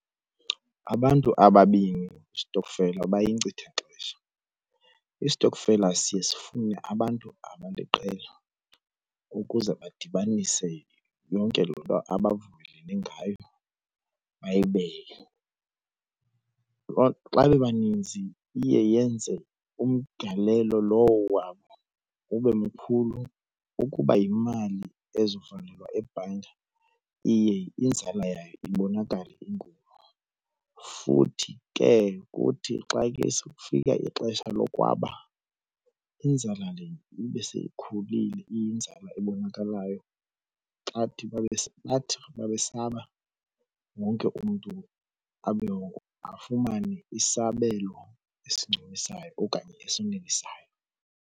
Abantu ababini kwisitokfela bayinkcitha xesha. iIstokfela siye sifune abantu abaliqela ukuze badibanise yonke loo nto abavumelene ngayo bayibeke. Xa bebaninzi iye yenze umgalelo lowo wabo ube mkhulu. Ukuba yimali eza kuvalelwa ebhanka iye inzala yayo ibonakale inkulu. Futhi ke kuthi xa ke kufika ixesha lokwaba inzala le ibe seyikhulile iyinzala ebonakalayo. Xa bathi mabesaba wonke umntu afumane isabelo esincumisayo okanye esanelisayo.